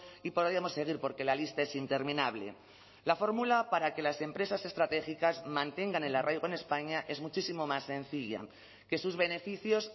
y podríamos seguir porque la lista es interminable la fórmula para que las empresas estratégicas mantengan el arraigo en españa es muchísimo más sencilla que sus beneficios